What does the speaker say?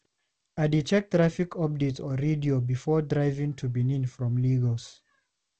I dey check traffic updates on radio before driving to Benin from Lagos.